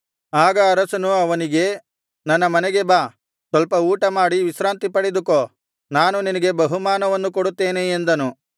ಆಗ ಅರಸನು ಅವನಿಗೆ ನನ್ನ ಮನೆಗೆ ಬಾ ಸ್ವಲ್ಪ ಊಟ ಮಾಡಿ ವಿಶ್ರಾಂತಿ ಪಡೆದುಕೋ ನಾನು ನಿನಗೆ ಬಹುಮಾನವನ್ನು ಕೊಡುತ್ತೇನೆ ಎಂದನು